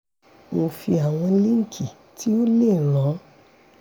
mo fi àwọn líǹkì tí ó lè ràn